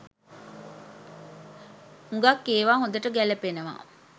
හුඟක් ඒවා හොඳට ගැලපෙනව.